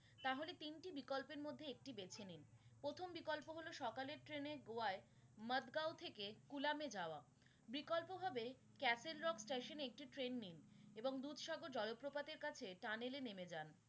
সকলের ট্রেনে গোয়ায় মাদগাঁও থেকে কুলামে যাওয়া, বিকল্প ভাবে castle rock station একটি ট্রেন নিন এবং দুধসাগর জলপ্রপাতের কাছে tunnel য়ে নেমে যান।